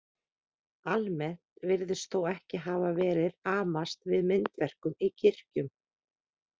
Almennt virðist þó ekki hafa verið amast við myndverkum í kirkjum.